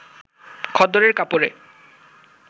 খদ্দরের কাপড়ে